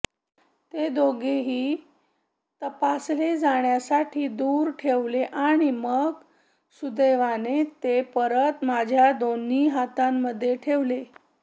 ते दोघेही तपासले जाण्यासाठी दूर ठेवले आणि मग सुदैवाने ते परत माझ्या दोन्ही हातांमध्ये ठेवले